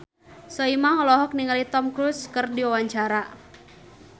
Soimah olohok ningali Tom Cruise keur diwawancara